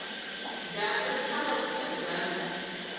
dyambu ri tlhava vuxadyambu